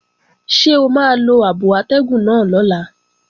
Ṣé o máa lo abo atẹ́gùn náà lọ́la?